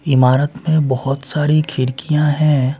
इमारत में बहुत सारी खिरकियाँ हैं।